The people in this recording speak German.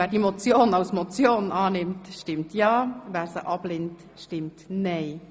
Wer die Motion annimmt, stimmt ja, wer sie ablehnt stimmt nein.